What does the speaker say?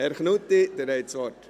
Herr Knutti, Sie haben das Wort.